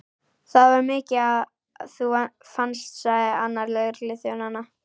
Það var mikið að þú fannst, sagði annar lögregluþjónanna.